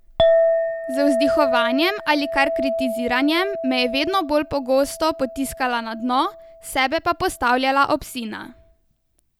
Z vzdihovanjem ali kar kritiziranjem me je vedno bolj pogosto potiskala na dno, sebe pa postavljala ob sina.